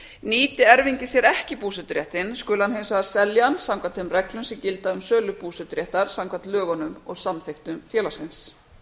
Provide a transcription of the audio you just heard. nýti erfingi sér ekki búseturéttinn skuli hann hins vegar selja hann samkvæmt þeim reglum sem gilda um sölu búseturéttar samkvæmt lögunum og samþykktum félagsins